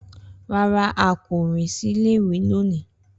Rara, a ko rin si ile-iwe loni.